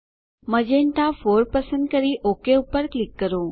magenta 4 પસંદ કરી OK પર ક્લિક કરો